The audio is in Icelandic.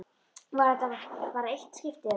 Var þetta bara eitt skipti, eða.